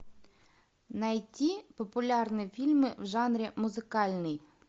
найти популярные фильмы в жанре музыкальный